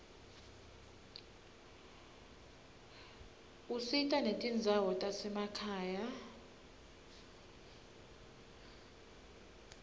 usita netindzawo tasemakhaya